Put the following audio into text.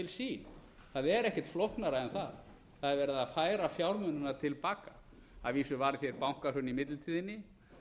sín það er ekkert flóknara en það það er verið að færa fjármunina til baka að vísu var hér bankahrun í millitíðinni